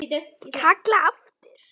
Kalla aftur.